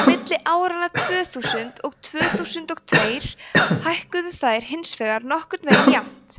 á milli áranna tvö þúsund og tvö þúsund og tveir hækkuðu þær hins vegar nokkurn veginn jafnmikið